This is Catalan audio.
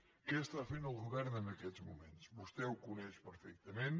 què fa el govern en aquests moments vostè ho coneix perfectament